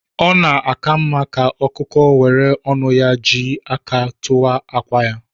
Ọ na-aka mma ka ọkụkọ were ọnu ya jị aka ya tuwaa akwa ya.